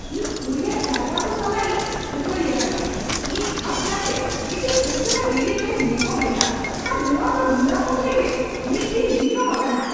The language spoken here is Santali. ᱤᱧᱫᱚ ᱠᱩᱨᱤᱭᱟᱨ ᱥᱟᱨᱵᱷᱟᱨ ᱠᱚ ᱥᱟᱞᱟᱜ ᱤᱧ ᱠᱷᱟᱹᱯᱟᱹᱨᱤ ᱟᱠᱟᱱᱟ ᱾ᱤᱧ ᱠᱷᱟᱥᱠᱟᱨᱛᱮ ᱢᱤᱫᱴᱟᱝ ᱩᱥᱟᱹᱨᱟ ᱰᱮᱞᱤᱵᱷᱟᱨᱤᱧ ᱱᱮᱦᱚᱨ ᱞᱮᱫᱟ ᱟᱨ ᱱᱚᱶᱟ ᱫᱚ ᱱᱤᱭᱟᱹᱢᱩᱫ ᱨᱮᱜᱮ ᱢᱤᱫᱼᱫᱤᱱ ᱵᱤᱞᱚᱢ ᱟᱠᱟᱱᱟ !